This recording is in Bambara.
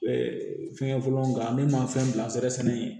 fɛngɛ fɔlɔ nga ne ma fɛn bila nsɛrɛ sɛnɛ